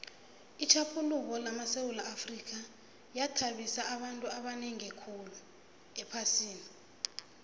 itjhaphuluko lamasewula afrika yathabisa abantu abanengi ephasini